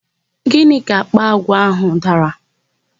Gịnị ka àkpà àgwà áhụ̀ dara?